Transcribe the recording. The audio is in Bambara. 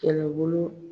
Kɛlɛbolo